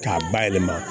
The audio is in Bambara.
K'a bayɛlɛma